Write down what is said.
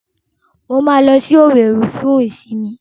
Mo máa lọ sí Òwèrì fún ìsìnmi.